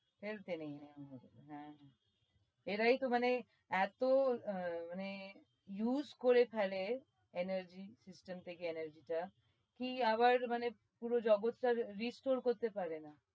হ্যাঁ এরাই তো মানে এতো হম মানে use করে ফেলে energy system থেকে energy টা কি আবার মানে পুরো জগতটাকে restore করতে পারে না।